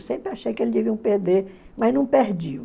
Eu sempre achei que eles deviam perder, mas não perdiam.